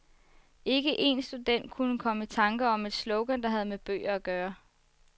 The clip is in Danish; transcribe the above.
Ikke en student kunne komme i tanker om et slogan, der havde med bøger at gøre.